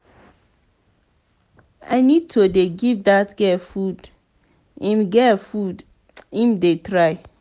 i need to dey give dat girl food im girl food im dey try.